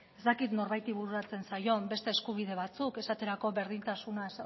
ez dakit norbaiti bururatzen zaion beste eskubide batzuk esaterako berdintasuna